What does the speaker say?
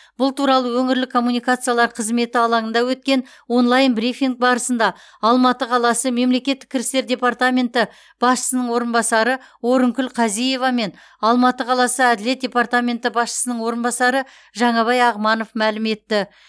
бұл туралы өңірлік коммуникациялар қызметі алаңында өткен онлайн брифинг барысында алматы қаласы мемлекеттік кірістер департаменті басшысының орынбасары орынкүл қазиева мен алматы қаласы әділет департаменті басшысының орынбасары жаңабай ағманов мәлім етті